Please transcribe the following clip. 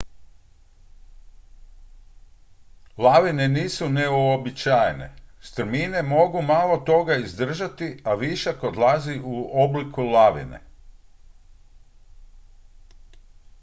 lavine nisu neuobičajene strmine mogu malo toga izdržati a višak odlazi u obliku lavine